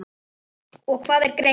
og Hvað er greind?